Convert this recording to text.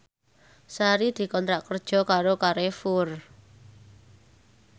Sari dikontrak kerja karo Carrefour